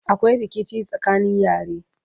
akwai rikici tsakanin yare